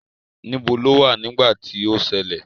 Níbo lo wà nígbà tí ó ṣẹlẹ̀?